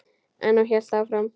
En hún hélt áfram.